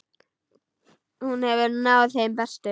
Hún hefur náð þeim bestu.